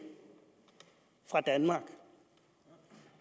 fra danmark